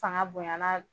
Fanga bonyana